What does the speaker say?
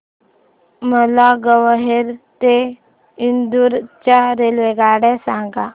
मला ग्वाल्हेर ते इंदूर च्या रेल्वेगाड्या सांगा